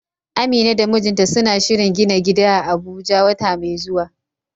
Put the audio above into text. Amina da mijinta suna shirin gina gida a Abuja wata mai zuwa.